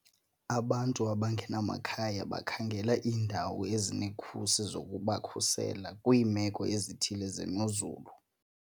Abantu abangenamakhaya bakhangela iindawo ezinekhusi zokubakhusela kwiimeko ezithile zemozulu.